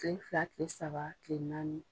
Kile fila, kile saba, kile naani.